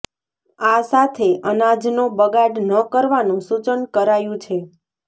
આ સાથે અનાજનો બગાડ ન કરવાનું સૂચન કરાયું છે